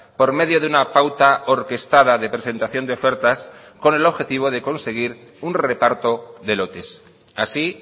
por medio de una pauta orquestada de presentación de ofertas con el objetivo de conseguir un reparto de lotes así